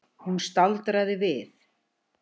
Hún staldraði við.